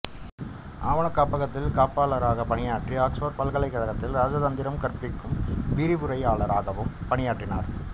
ஆவணக் காப்பகத்தின் காப்பபாளராகப் பணியாற்றி ஆக்ஸ்போா்ட் பல்கைலக் கழகத்தில் ராஜதந்திரம் கற்பிக்கும் விாிவுரையாளராகவும் பணியாற்றினாா்